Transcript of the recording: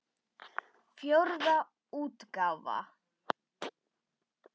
Fjórða útgáfa.